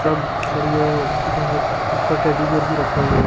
सब बढ़िया दुकानो ऊपर टेडी बियर भी रखा हुआ है।